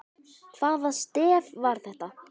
Hvaða stef var það?